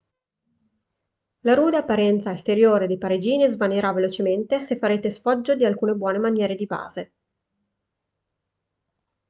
la rude apparenza esteriore dei parigini svanirà velocemente se farete sfoggio di alcune buone maniere di base